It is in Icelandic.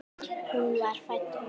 Hún var fædd móðir.